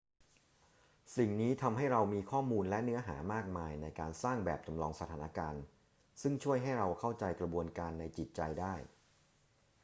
สิ่งนี้ทำให้เรามีข้อมูลและเนื้อหามากมายในการสร้างแบบจำลองสถานการณ์ซึ่งช่วยให้เราเข้าใจกระบวนการในจิตใจได้